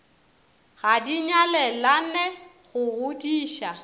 ga di nyalelane go godiša